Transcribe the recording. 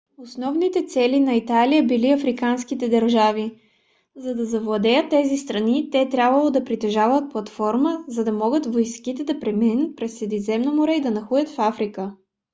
основните цели на италия били африканските държави. за да завладеят тези страни те трябвало да притежават платформа за да могат войските да преминат през средиземно море и да нахлуят в африка